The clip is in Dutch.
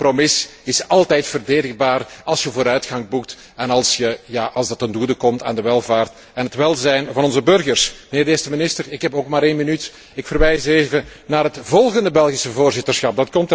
Zo'n compromis is altijd verdedigbaar als je vooruitgang boekt en als het ten goede komt aan de welvaart en het welzijn van onze burgers. Mijnheer de Eerste Minister, ik heb ook maar één minuut. Ik verwijs even naar het volgend Belgisch voorzitterschap.